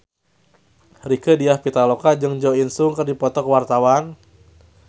Rieke Diah Pitaloka jeung Jo In Sung keur dipoto ku wartawan